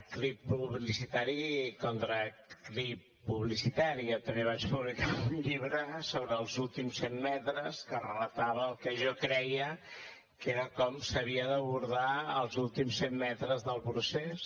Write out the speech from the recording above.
clip publicitari contra clip publicitari jo també vaig publicar un llibre sobre els últims cent metres que relatava el que jo creia que era com s’havien d’abordar els últims cent metres del procés